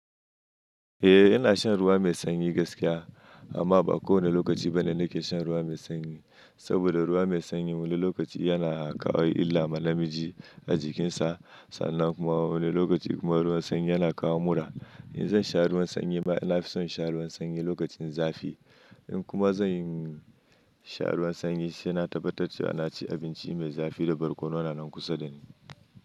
Eh ina shan ruwa mai sanyi gaskiya amma ba kowane lokaci bane nake shan ruwa mai sanyi, saboda ruwa mai sanyi wani lokaci yana kawo illa ma namiji a jikinsa. Sannan kuma wani lokaci kuma ruwan sanyi yana kawo mura. In zan sha ruwan sanyi ba ina fi son sha ruwan sanyi lokacin zafi. In kuma zan sha ruwan sanyi shine na tabbatar cewa na ci abinci mai zafi da barkono na nan kusa da ni.